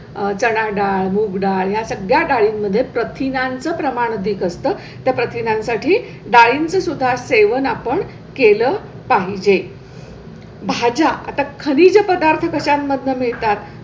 चणाडाळ, मूगडाळ या सगळ्या डाळी मध्ये प्रथिनांचे प्रमाण अधिक असतं. त्या प्रथिनां साठी डाळी सुद्धा सेवन आपण केलं पाहिजे. भाज्या आता खनिज पदार्थ काश्यामधनं मिळतात